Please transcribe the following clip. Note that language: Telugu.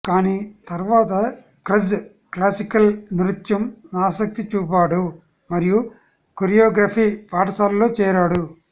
కానీ తర్వాత క్రజ్ క్లాసికల్ నృత్యం ఆసక్తి చూపాడు మరియు కొరియోగ్రఫీ పాఠశాలలో చేరాడు